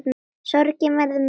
Sorgin verður mikil.